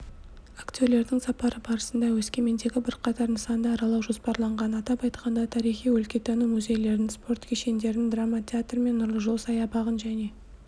актерлердің сапары барысында өскемендегі бірқатар нысанды аралау жоспарланған атап айтқанда тарихи-өлкетану мүзейлерін спорт кешендерін драма театр мен нұрлы жол саябағын және